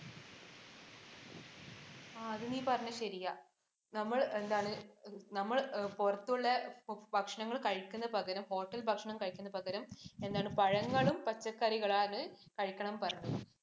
ആ അത് നീ പറഞ്ഞത് ശരിയാ, നമ്മൾ എന്താണ് നമ്മൾ പുറത്തുള്ള ഭക്ഷണങ്ങൾ കഴിക്കുന്നതിനു പകരം hotel ഭക്ഷണം കഴിക്കുന്നതിന് പകരം പഴങ്ങളും പച്ചക്കറികളുമാണ് കഴിക്കണമെന്ന് പറഞ്ഞത്.